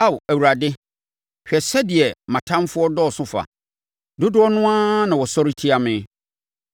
Ao Awurade, hwɛ sɛdeɛ mʼatamfoɔ dɔɔso fa! Dodoɔ no ara na wɔsɔre tia me!